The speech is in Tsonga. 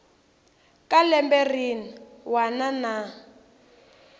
ka lembe rin wana na